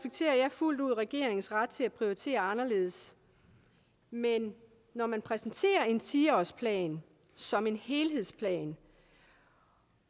fuldt ud regeringens ret til at prioritere anderledes men når man præsenterer en ti årsplan som en helhedsplan